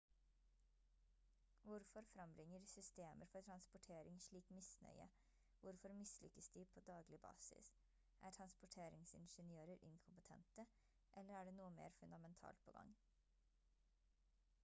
hvorfor frembringer systemer for transportering slik misnøye hvorfor mislykkes de på daglig basis er transportingeniører inkompetente eller er det noe mer fundamentalt på gang